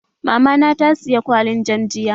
Mamana ta siye kwalin jam jiya